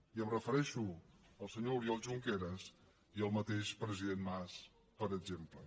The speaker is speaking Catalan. i em refereixo al senyor oriol junqueras i al mateix president mas per exemple